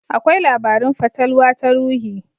Akwai labarun fatalwa ta ruhi.